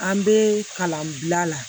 An bɛ kalan bila la